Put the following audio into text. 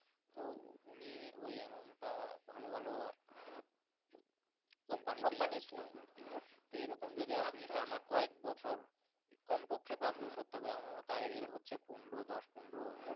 তুমি ওই Amount টা ভালো ভালো company এরকম আচ্ছা আচ্ছা টানা কয়েক বছর কম পক্ষে পাঁচ বছর আমের ও Idell হচ্ছে পনেরো দশ পনেরো।